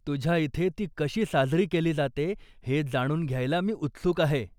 तुझ्या इथे ती कशी साजरी केली जाते हे जाणून घ्यायला मी उत्सुक आहे.